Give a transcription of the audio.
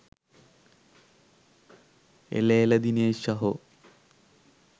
එල එල දිනේශ් සහෝ